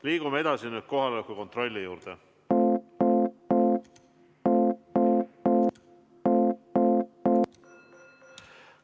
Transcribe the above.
Liigume nüüd edasi kohaloleku kontrolli juurde.